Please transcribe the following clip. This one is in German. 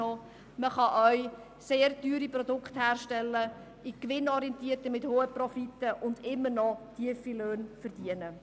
Man kann auch sehr teure Produkte herstellen, gewinnorientiert, mit hohen Profiten und immer noch tiefe Löhne verdienen.